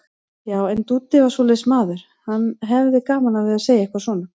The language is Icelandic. Já, en Dúddi var svoleiðis maður, hann hafði gaman af því að segja eitthvað svona.